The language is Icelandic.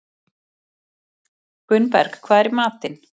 Gunnberg, hvað er í matinn?